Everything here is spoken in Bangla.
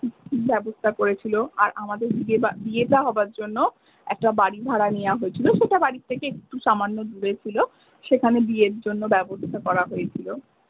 বাবস্থা করেছিলো আর আমাদের বিয়ে বিয়েটা হবার জন্য একটা বাড়ি ভাড়া নেওয়া হয়েছিলো সেটা বাড়ি থেকে একটু সামান্য দূরে ছিলো সেখানে বিয়ের জন্য ব্যবস্থা করা হয়েছিলো।